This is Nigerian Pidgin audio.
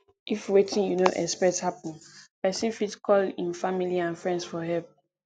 if wetin you no expect happen person fit call im family and friends for help